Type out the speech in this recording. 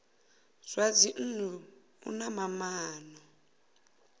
zwa dzinnu u na maana